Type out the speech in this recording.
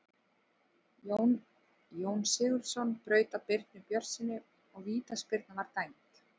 Jón Sigurðsson braut á Birni Björnssyni og vítaspyrna var dæmd.